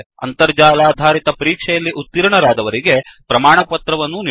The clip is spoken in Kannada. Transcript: ಅಂತರ್ಜಾಲಾಧಾರಿತ ಪರೀಕ್ಷೆಯಲ್ಲಿ ಉತೀರ್ಣರಾದವರಿಗೆ ಪ್ರಮಾಣಪತ್ರವನ್ನೂ ನೀಡುತ್ತದೆ